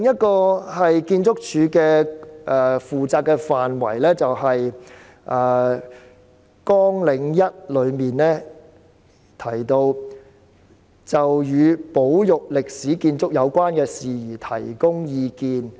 建築署負責的另一個範圍是綱領1的簡介提到的，"就與保育歷史建築有關的事宜提供意見"。